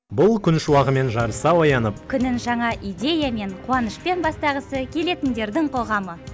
бұл күн шуағымен жарыса оянып күнін жаңа идеямен қуанышпен бастағысы келетіндердің қоғамы